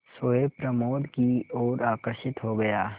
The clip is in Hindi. सोए प्रमोद की ओर आकर्षित हो गया